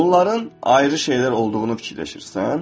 Bunların ayrı şeylər olduğunu fikirləşirsən?